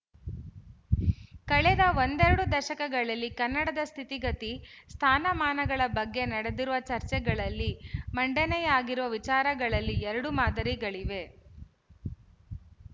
ಕಳೆದ ಒಂದೆರಡು ದಶಕಗಳಲ್ಲಿ ಕನ್ನಡದ ಸ್ಥಿತಿಗತಿ ಸ್ಥಾನಮಾನಗಳ ಬಗ್ಗೆ ನಡೆದಿರುವ ಚರ್ಚೆಗಳಲ್ಲಿ ಮಂಡನೆಯಾಗಿರುವ ವಿಚಾರಗಳಲ್ಲಿ ಎರಡು ಮಾದರಿಗಳಿವೆ